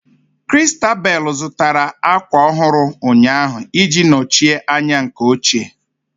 Christabel zụtara ákwà ọhụrụ ụnyaahụ ị ji nọchie anya nke ochie